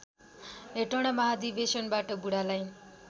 हेटौँडा महाधिवेशनबाट बुढालाई